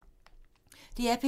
DR P2